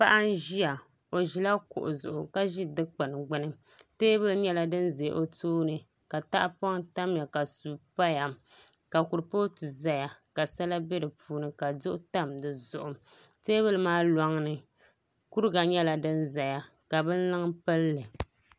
Paɣa n ʒiya o ʒila kuɣu zuɣu ka ʒi dikpuni gbuni teebuli nyɛla din ʒɛ o tooni ka tahapoŋ tamya ka suu paya ka kuripooti ʒɛya ka sala bɛ di puuni ka duɣu tam di zuɣu teebuli maa loŋni kuriga nyɛla din ʒɛya ka binluŋ pilli